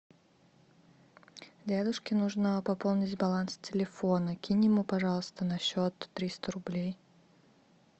дедушке нужно пополнить баланс телефона кинь ему пожалуйста на счет триста рублей